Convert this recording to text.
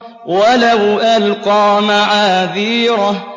وَلَوْ أَلْقَىٰ مَعَاذِيرَهُ